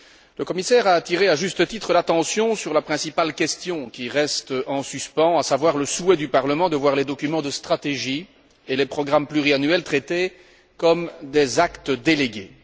Le commissaire a attiré, à juste titre, l'attention sur la principale question qui reste en suspens, à savoir le souhait du Parlement de voir les documents de stratégie et les programmes pluriannuels traités comme des actes délégués.